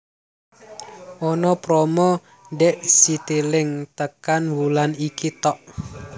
Ono promo dek Citilink tekan wulan iki tok